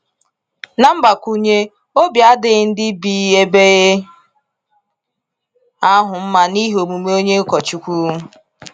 Na mgbakwunye, obi adịghị ndị bi ebe ahụ mma n’ihi omume onye ụkọchukwu.